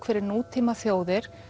fyrir nútíma þjóðir